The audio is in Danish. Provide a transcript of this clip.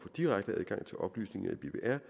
direkte adgang til oplysninger